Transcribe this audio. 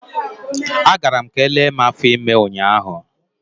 A gara m ka elee mụ afọ ime ụnyaahụ.